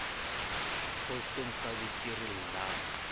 kgosto nkabe ke re llang